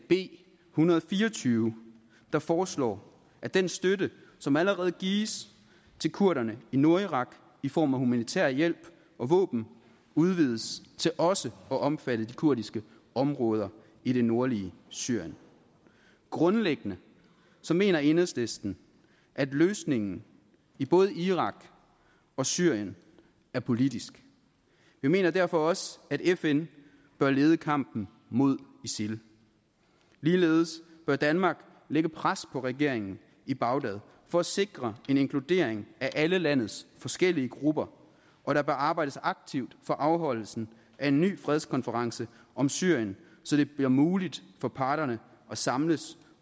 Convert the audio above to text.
b en hundrede og fire og tyve der foreslår at den støtte som allerede gives til kurderne i nordirak i form af humanitær hjælp og våben udvides til også at omfatte de kurdiske områder i det nordlige syrien grundlæggende mener enhedslisten at løsningen i både irak og syrien er politisk vi mener derfor også at fn bør lede kampen mod isil ligeledes bør danmark lægge pres på regeringen i bagdad for at sikre en inkludering af alle landets forskellige grupper og der bør arbejdes aktivt for afholdelsen af en ny fredskonference om syrien så det bliver muligt for parterne at samles